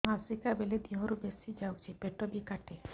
ମାସିକା ବେଳେ ଦିହରୁ ବେଶି ଯାଉଛି ପେଟ ବି କାଟେ